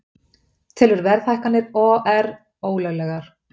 Telur verðhækkanir OR ólöglegar